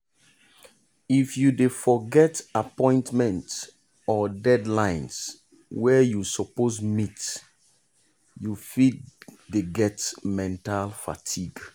if you dey forget appointment or deadlines wey you suppose meet you fit dey get mental fatigue.